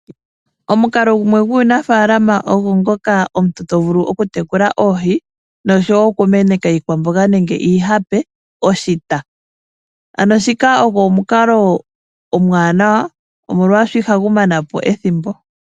Omukalo gumwe gwuunafalama ogwo ngoka omuntu to vulu okutekula oohi noku meneka iikwamboga nenge iihape oshita, shika ogwo omukalo omuwanawa omolwashoka ihagu mana po ethimbo.